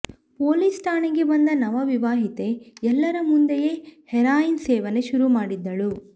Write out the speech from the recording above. police ಠಾಣೆಗೆ ಬಂದ ನವ ವಿವಾಹಿತೆ ಎಲ್ಲರ ಮುಂದೆಯೇ ಹೆರಾಯಿನ್ ಸೇವನೆ ಶುರು ಮಾಡಿದ್ದಳು